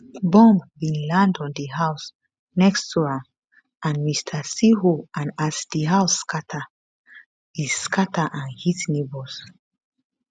bomb bin land on di house next to am and mr cirho and as di house scatter e scatter and hit neighbours